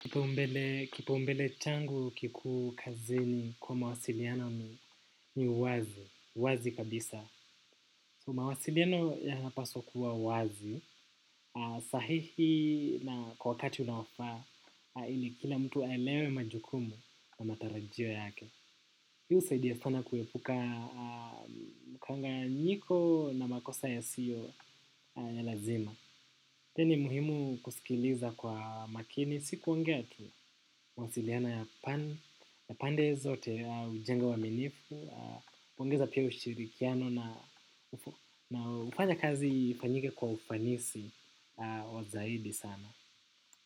Kipaumbele changu kikuu kazini kwa mawasiliano ni wazi, wazi kabisa. So mawasiliano yanapaswa kuwa wazi, sahihi na kwa wakati unaofaa, ili kila mtu aelewe majukumu na matarajio yake. Hii husaidia sana kuepuka mkanganyiko na makosa yasiyo ya lazima. Pia ni muhimu kusikiliza kwa makini, si kuongea tu mawasiliano ya pande zote hujenga uaminifu, kupongeza pia ushirikiano na hufanya kazi ifanyike kwa ufanisi wa zaidi sana.